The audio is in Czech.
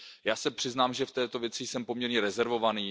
Já se přiznám, že v této věci jsem poměrně rezervovaný.